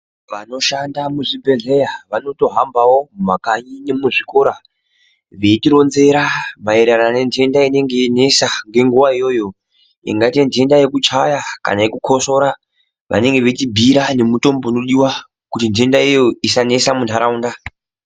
Vanoshanda muzvibhedhlera vanotohambawo mumakanyi nemuzvikora veitironzera maererano nententa inenge yeinesa ngenguwa iyoyo ingaite ntenta yekuchaya kana yekukosorora vanenge veitibhiira nemutombo unodiwa kuti ntentayo isanesa muntataunda.